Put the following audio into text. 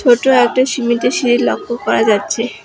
ছোট একটা সিমেন্টের সিড়ি লক্ষ করা যাচ্ছে।